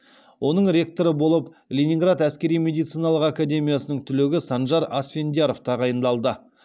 оның ректоры болып ленинград әскери медициналық академиясының түлегі санжар асфендияров тағайындалды